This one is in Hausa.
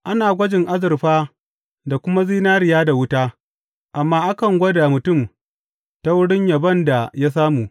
Ana gwajin azurfa da kuma zinariya da wuta, amma akan gwada mutum ta wurin yabon da ya samu.